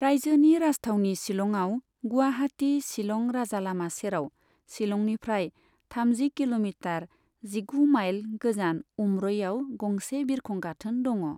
रायजोनि राजथावनि शिलंआव, गुवाहाटी शिलं राजालामा सेराव, शिलंनिफ्राय थामजि किल'मिटार, जिगु माइल गोजान उम्रइआव गंसे बिरखं गाथोन दङ।